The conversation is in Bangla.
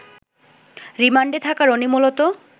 রিমান্ডে থাকা রনি মূলত